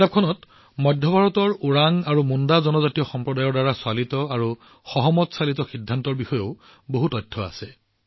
কিতাপখনত মধ্য ভাৰতৰ ওৰাওন আৰু মুণ্ডা জনজাতিৰ সম্প্ৰদায়চালিত আৰু সহমতচালিত সিদ্ধান্ত গ্ৰহণৰ বিষয়েও ভাল তথ্য আছে